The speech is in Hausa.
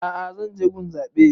A'a zan je gun zaɓe